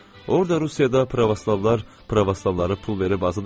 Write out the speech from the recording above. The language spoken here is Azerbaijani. Orda Rusiyada pravoslavlar pravoslavları pul verib azad eləyirlər.